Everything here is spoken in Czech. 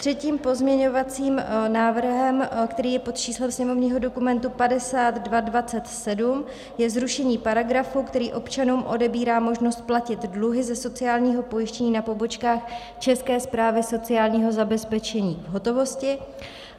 Třetím pozměňovacím návrhem, který je pod číslem sněmovního dokumentu 5227, je zrušení paragrafu, který občanům odebírá možnost platit dluhy ze sociálního pojištění na pobočkách České správy sociálního zabezpečení v hotovosti.